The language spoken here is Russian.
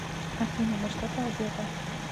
афина во что ты одета